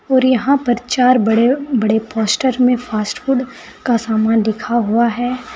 और यहां पर चार बड़े बड़े पोस्टर में फास्ट फूड का समान लिखा हुआ है।